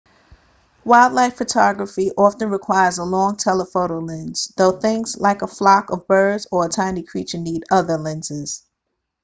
wildlife photography often requires a long telephoto lens though things like a flock of birds or a tiny creature need other lenses